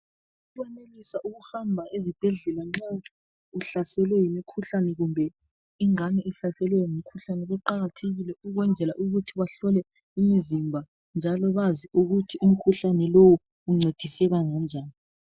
Ukwenelisa ukuhamba ezibhedlela nxa uhlaselwe yimikhuhlane kumbe nxa ingane ihlaselwe ngumkhuhlane kuqakathekile ukwenzela ukuthi bahlole imizimba njalo bazi ukuthi umkhuhlane lowu uncediseka ngonjani.